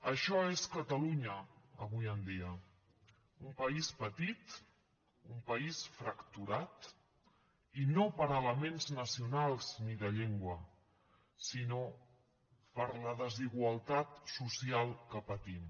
això és catalunya avui en dia un país petit un país fracturat i no per elements nacionals ni de llengua sinó per la desigualtat social que patim